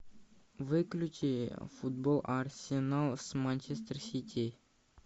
выключи футбол арсенал с манчестер сити